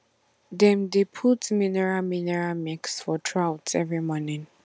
they dey put mineral mineral mix for troughs every morning